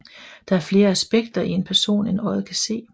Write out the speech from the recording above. Der er flere aspekter i en person end øjet kan se